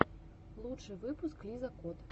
лучший выпуск лиза кот